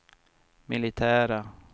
militära